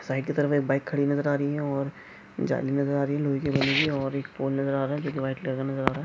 Side की तरफ एक बाइक खड़ी नजर आ रही है और जाली नजर आ रही है रुई कि बनी हुई और एक पोल नजर आ रह है जो व्हाईट कलर का नजर आ रह है।